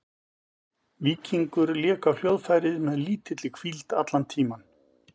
Víkingur lék á hljóðfærið með lítilli hvíld allan tímann.